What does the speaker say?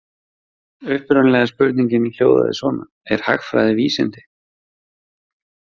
Upprunalega spurningin hljóðaði svona: Er hagfræði vísindi?